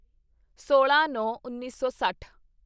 ਸੋਲਾਂਨੌਂਉੱਨੀ ਸੌ ਸੱਠ